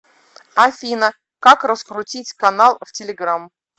афина как раскрутить канал в телеграмм